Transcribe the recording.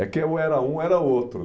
É que ou era um, ou era outro